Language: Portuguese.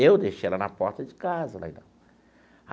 Eu deixei ela na porta de casa.